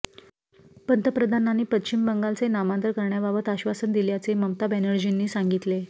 पंतप्रधानांनी पश्चिम बंगालचे नामांतर करण्याबाबत आश्वासन दिल्याचे ममता बॅनर्जींनी सांगितले